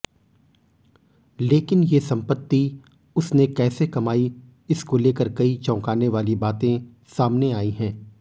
लेकिन ये संपत्ति उसने कैसे कमाई इसको लेकर कई चौकाने वाली बातें सामने आई हैं